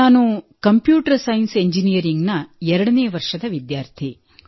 ನಾನು computer science engineering ಎರಡನೇ ವರ್ಷದ ವಿದ್ಯಾರ್ಥಿ